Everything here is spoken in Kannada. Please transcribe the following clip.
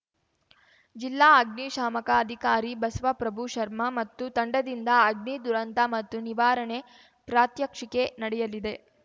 ಜಿಲ್ಲಾ ಅಗ್ನಿಶಾಮಕ ಅಧಿಕಾರಿ ಬಸವಪ್ರಭು ಶರ್ಮ ಮತ್ತು ತಂಡದಿಂದ ಅಗ್ನಿ ದುರಂತ ಮತ್ತು ನಿವಾರಣೆ ಪ್ರಾತ್ಯಕ್ಷಿಕೆ ನಡೆಯಲಿದೆ